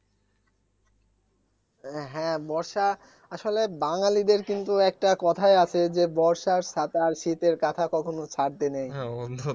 হ্যা বর্ষা আসলে বাঙালিদের কিন্তু একটা কোথায় আছে যে বর্ষার ছাতা আর শীতের কাঁথা কখনো ছাড়তে নেই